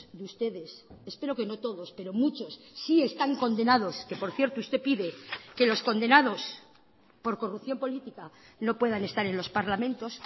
de ustedes espero que no todos pero muchos sí están condenados que por cierto usted pide que los condenados por corrupción política no puedan estar en los parlamentos